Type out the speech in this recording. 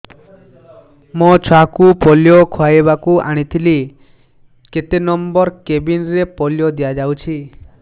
ମୋର ଛୁଆକୁ ପୋଲିଓ ଖୁଆଇବାକୁ ଆଣିଥିଲି କେତେ ନମ୍ବର କେବିନ ରେ ପୋଲିଓ ଦିଆଯାଉଛି